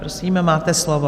Prosím, máte slovo.